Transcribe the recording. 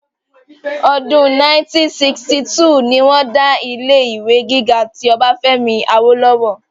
ọdún 1962 ni wọ́n dá ilé ìwé gíga ti ọbáfẹ́mi awólọ́wọ̀